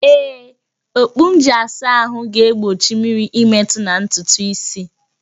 Ee, okpu m ji asa ahụ na-egbochi mmiri ịmetụ na ntutu isi